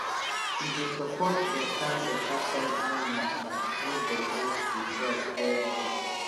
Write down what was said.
e dey support beta beta soil animals dem wey dey help di crops dey healthy